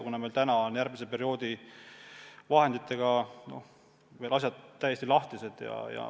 Aga meil on järgmise perioodi vahendid veel täiesti lahtised.